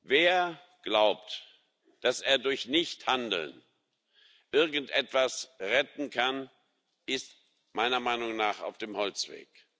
Wer glaubt, dass er durch Nichthandeln irgendetwas retten kann, ist meiner Meinung nach auf dem Holzweg.